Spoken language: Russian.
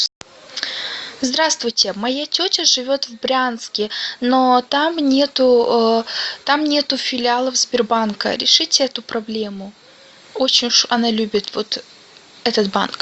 здравствуйте моя тетя живет в брянске но там нету там нету филиалов сбербанка решите эту проблему очень уж она любит вот этот банк